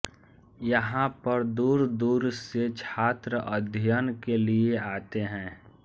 यहाँ पर दूर दूर से छात्र अध्ययन के लिए आते हैं